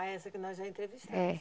Ah, essa que nós já entrevistamos. É